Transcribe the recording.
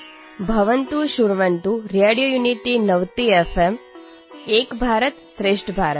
ଆପଣମାନେ ଶୁଣନ୍ତୁ radio unity ninety FM ଏକ ଭାରତ ଶ୍ରେଷ୍ଠ ଭାରତ